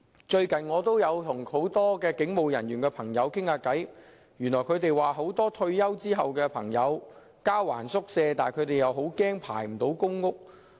最近，我曾與很多警務人員聊天，他們告訴我，很多退休警務人員都害怕在交還宿舍時，仍未獲編配公屋。